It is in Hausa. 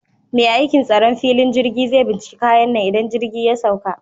Mai aikin tsaron filin jirgi zai binciki kayan nan idan jirgi ya sauka